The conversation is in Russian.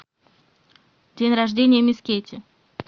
день рождения мисс кейти